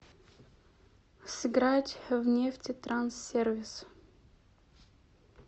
сыграть в нефтетранссервис